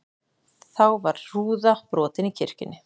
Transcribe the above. Þá var rúða brotin í kirkjunni